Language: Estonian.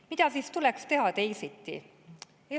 Mida siis tuleks teha teisiti?